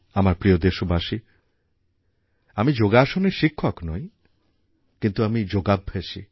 আমার প্রিয় দেশবাসী আমি যোগাসনের শিক্ষক নই কিন্তু আমি যোগাভ্যাসী